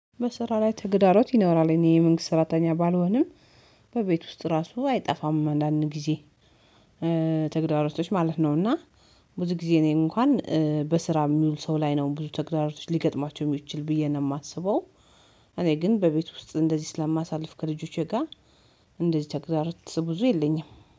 በስራ ላይ ተግዳሮት ይኖራል እኔ የመንግስት ስራተኛ ባልሆንም በቤት ውስጥ ራሱ አይጠፋም አንዳንድ ጊዜ ተግዳሮቶች ማለት ነው። እና ብዙ ጊዜ እኔ እንኳን በስራ የሚውል ሰው ላይ ነው ብዙ ተግዳሮቶች ሊገጥማቸው የሚችል ብዬ ነው የማስበው። እኔ ግን በቤት ውስጥ እንደዚህ ስለማሳልፍ ከልጆቼ ጋር እንደዚህ ብዙ ተግዳሮት ብዙ የለኝም።